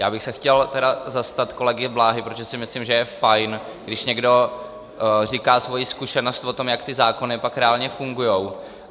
Já bych se chtěl zastat kolegy Bláhy, protože si myslím, že je fajn, když někdo říká svoji zkušenost s tím, jak ty zákony pak reálně fungují.